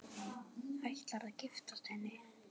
Ætlarðu að giftast henni?